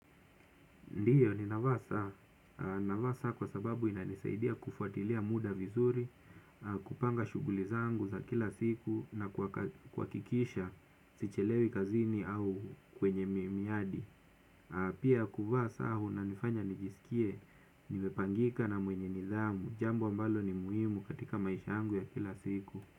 Ndiyo ninavaa saa, navaa saa kwa sababu inanisaidia kufuatilia muda vizuri, kupanga shughuli zangu za kila siku na kuhakikisha sichelewi kazini au kwenye miyadi. Pia kuvaa saa kunanifanya nijisikie nimepangika na mwenye nidhamu, jambo ambalo ni muhimu katika maisha yangu ya kila siku.